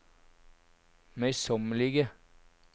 møysommelige